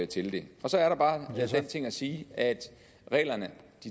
til det så er der bare den ting at sige at reglerne